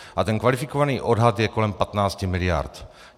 A ten kvalifikovaný odhad je kolem 15 miliard.